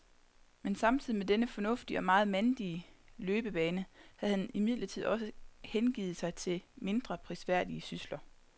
Men samtidig med denne fornuftige og meget mandige løbebane havde han imidlertid også hengivet sig til mindre prisværdige sysler.